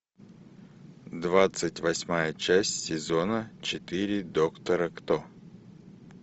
двадцать восьмая часть сезона четыре доктора кто